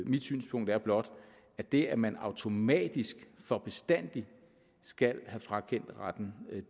mit synspunkt er blot at det at man automatisk for bestandig skal have frakendt retten